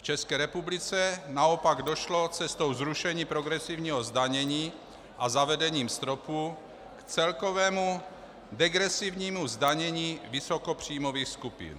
V České republice naopak došlo cestou zrušení progresivního zdanění a zavedením stropu k celkovému degresivnímu zdanění vysokopříjmových skupin.